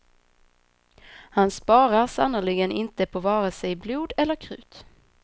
Han sparar sannerligen inte på vare sig blod eller krut.